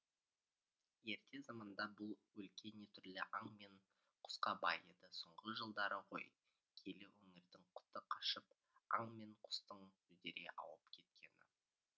ерте заманда бұл өлке не түрлі аң мен құсқа бай еді соңғы жылдары ғой киелі өңірдің құты қашып аң мен құстың үдере ауып кеткені